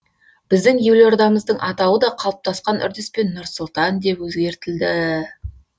біздің елордамыздың атауы да қалыптасқан үрдіспен нұр сұлтан деп өзгертілді